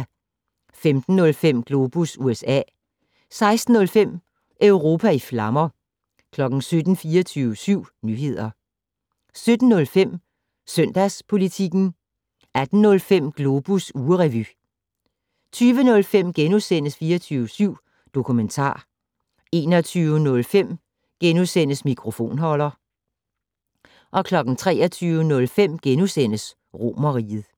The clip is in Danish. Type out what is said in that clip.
15:05: Globus USA 16:05: Europa i flammer 17:00: 24syv Nyheder 17:05: Søndagspolitikken 18:05: Globus ugerevy 20:05: 24syv Dokumentar * 21:05: Mikrofonholder * 23:05: Romerriget *